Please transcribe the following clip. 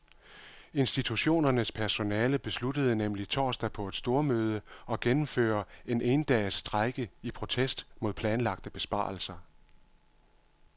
Institutionernes personale besluttede nemlig torsdag på et stormøde at gennemføre en endages strejke i protest mod planlagte besparelser.